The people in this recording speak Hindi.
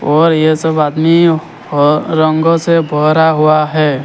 और ये सब आदमी ह रंगों से भरा हुआ है।